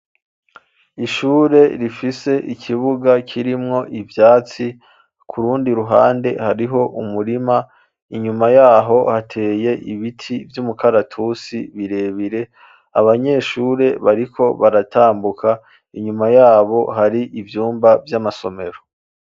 Ishure, rifise ikibuga kirimwo ivyatsi, ku rundi ruhande, hariho umurima inyuma y'aho, hateye ibiti vy'umukaratusi birebire, abanyeshure, bariko baratambuka, inyuma y'abo, hari ivyumba, vy'amasomero.